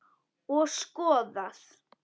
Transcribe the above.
Og skoðað.